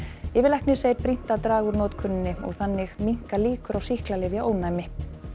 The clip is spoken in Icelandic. yfirlæknir segir brýnt að draga úr notkuninni og þannig minnka líkur á sýklalyfjaónæmi